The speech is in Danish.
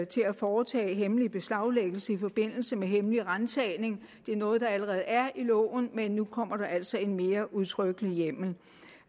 til at foretage hemmelig beslaglæggelse i forbindelse med hemmelig ransagning det er noget der allerede er i loven men nu kommer der altså en mere udtrykkelig hjemmel